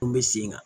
Mun bɛ sen kan